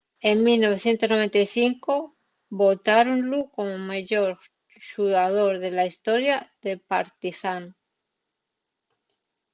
en 1995 votáronlu como meyor xugador de la historia del partizán